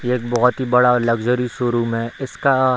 ये एक बहुत ही बड़ा लग्जरी शोरूम है इसका --